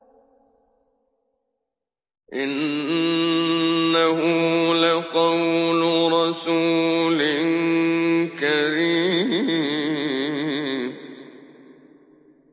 إِنَّهُ لَقَوْلُ رَسُولٍ كَرِيمٍ